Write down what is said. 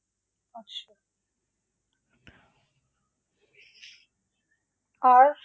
আর